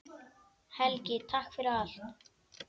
Helgi, takk fyrir allt.